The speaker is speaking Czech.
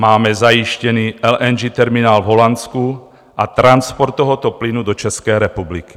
Máme zajištěný LNG terminál v Holandsku a transport tohoto plynu do České republiky.